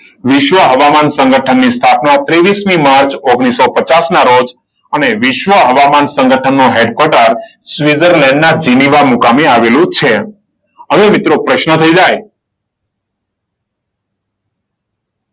વિશ્વ હવામાન સંગઠનની સ્થાપના ત્રેવીસ માર્ચ ઓગણીસો પચાસ ના રોજ. અને વિશ્વ હવામાં સંગઠન હેડ કોટર સ્વીટઝરલેન્ડના જીનીવા મુકામે આવેલું છે. હવે મિત્રો પ્રશ્ન થઈ જાય.